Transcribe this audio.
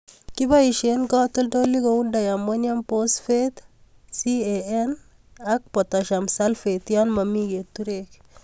Kiboisien katoltolik kou Diammonium Phosphate, CAN (calcium ammonium nitrate and potassium sulphate) yon momi keturek